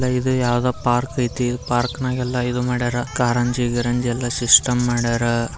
ಇದು ಯಾವ್ದೋ ಪಾರ್ಕ್ ಅಯ್ತಿ ಪಾರ್ಕ್ನಲ್ಲಿ ಎಲ್ಲ ಇದು ಮಾಡ್ಯಾರ ಕಾರಂಜಿ ಗೀರಂಜಿ ಅಂತ ಸಿಸ್ಟಮ್ ಮಾಡ್ಯಾರ.